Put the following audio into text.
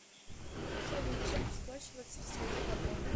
салют чем расплачиваться в стране габон